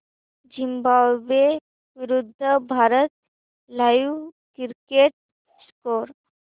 Zimbabwe विरूद्ध Bharat live cricket score